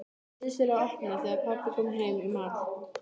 Neyddist til að opna þegar pabbi kom heim í mat.